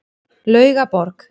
Laugaborg